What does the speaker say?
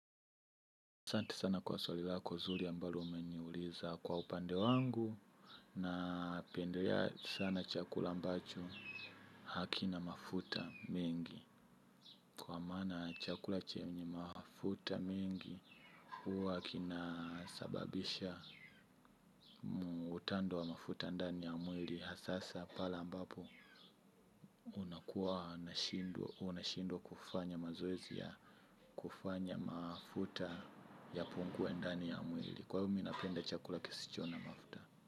Asante sana kwa swali lako zuri ambalo umeniuliza kwa upande wangu. Napendelea sana chakula ambacho hakina mafuta mengi. Kwa mana chakula chenye mafuta mengi huwa kina sababisha utando wa mafuta ndani ya mwili hasahasa pala ambapo unakuwa unashindwa kufanya mazoezi ya kufanya mafuta yapungue ndani ya mwili. Kwahiyo mi napenda chakula kisicho na mafuta.